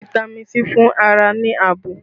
Fitami sii ń fún ara ní ààbò